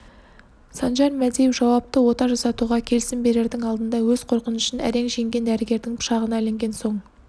санжар мәдиев жауапты ота жасатуға келісім берердің алдында өз қорқынышын әрең жеңген дәрігердің пышағына ілінген соң